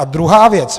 A druhá věc.